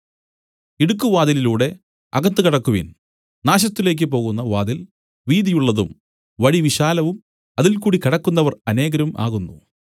ഇടുക്കുവാതിലിലൂടെ അകത്ത് കടക്കുവിൻ നാശത്തിലേക്കു പോകുന്ന വാതിൽ വീതിയുള്ളതും വഴി വിശാലവും അതിൽകൂടി കടക്കുന്നവർ അനേകരും ആകുന്നു